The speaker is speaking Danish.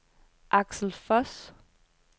Aksel Voss